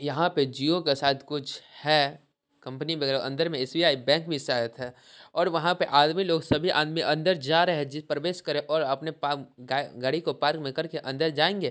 यहाँ पे जिओ के साथ कुछ है कंपनी वगेरा अंदर मे एस_बी_आई बैंक भी शायद है और वहाँ पे आदमी लोग सभी आदमी अंदर जा रहे है प्रवेश कर रहे हैं और अपने गाड़ी को पार्क में करके अंदर जाएंगे ।